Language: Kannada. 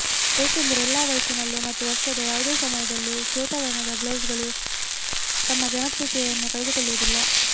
ಏಕೆಂದರೆ ಎಲ್ಲಾ ವಯಸ್ಸಿನಲ್ಲೂ ಮತ್ತು ವರ್ಷದ ಯಾವುದೇ ಸಮಯದಲ್ಲಿ ಶ್ವೇತವರ್ಣದ ಬ್ಲೌಸ್ಗಳು ತಮ್ಮ ಜನಪ್ರಿಯತೆಯನ್ನು ಕಳೆದುಕೊಳ್ಳುವುದಿಲ್ಲ